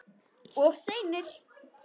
Of seinir!